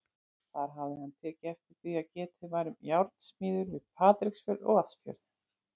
Þar hafði hann tekið eftir því, að getið var um járnsmiðjur við Patreksfjörð og Vatnsfjörð.